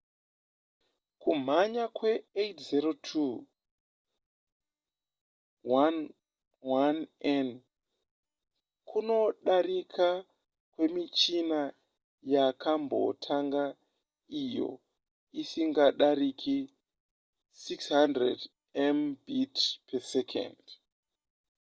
kumhanya kwe802.11n kunodarika kwemichina yakambotanga iyo isingadarike 600mbit/s